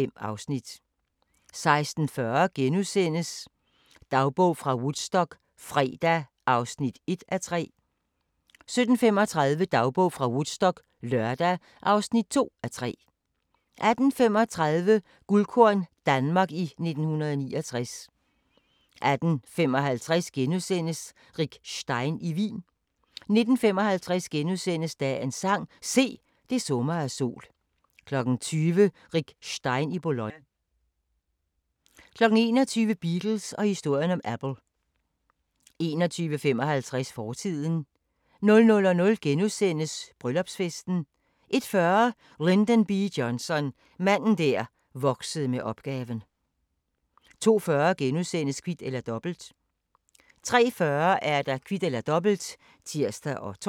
05:03: P1 Business: Danskvandsdirektøren * 05:30: Natursyn: Det sidste pip * 06:05: Masterclasses – Peder Frederik Jensen: Autofiktion * 10:03: Koranskolen på P1 (Afs. 5) 11:03: Skønlitteratur på P1: Ibsen og Holberg 13:03: Mennesker og Tro: Konsulent Lone Belling om perspektiv på dannelse 13:30: Brinkmann på P1: It-i-alting 19:03: Masterclasses – Peder Frederik Jensen: Autofiktion * 20:03: Droner og kanoner: Honningfælder * 20:33: P1 Dokumentar: 'De tror jeg bor i en gummicelle' *